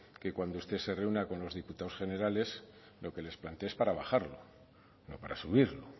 que cuando usted se reúna con los diputados generales lo que les plantee es para bajarlo no para subirlo